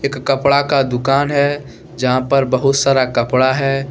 एक कपड़ा का दुकान है जहां पर बहुत सारा कपड़ा है।